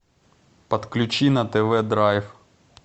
подключи на тв драйв